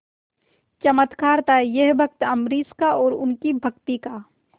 चमत्कार था यह भक्त अम्बरीश का और उनकी भक्ति का